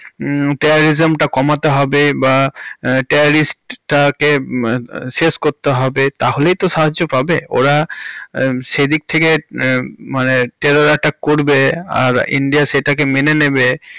terrorism তা কমাতে হবে বা terrorist টাকে শেষ করতে হবে তাহলেই তো সাহায্য পাবে, ওরা সেদিক থেকে মানে terror attack করবে আর ইন্ডিয়া সেটাকে মেনে নেবে। হুম।